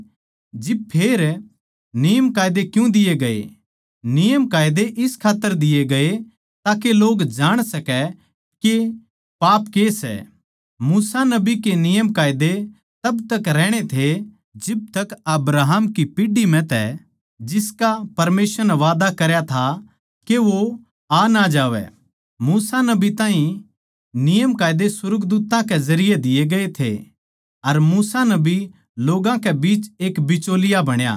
जिब फेर नियमकायदे क्यूँ दिये गये नियमकायदे इस खात्तर दिए गये ताके लोग जाण सकै के पाप के सै मूसा नबी के नियमकायदे तब तक रहणे थे जिब तक अब्राहम की पीढ़ी म्ह तै जिसका परमेसवर नै वादा करया था के वो आ ना जावै मूसा नबी ताहीं नियमकायदे सुर्गदूत्तां कै जरिये दिए गये थे अर मूसा नबी लोग्गां के बिच एक बिचौलिया बण्या